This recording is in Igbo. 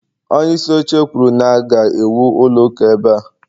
onyeisi oche kwuru na- ga-ewu ụlọ ụka ebe a